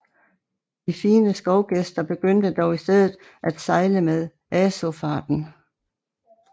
De fine skovgæster begyndte dog i stedet at sejle med Aaafarten